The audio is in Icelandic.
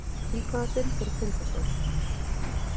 Í hvaða deild er Tindastóll?